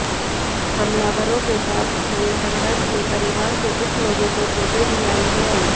हमलावरों के साथ हुए संघर्ष में परिवार के कुछ लोगों को चोटें भी आई हैं